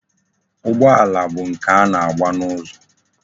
Ụgbọala bụ nke a na-agba n'ụzọ.